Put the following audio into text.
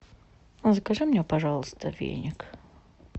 закажи мне пожалуйста веник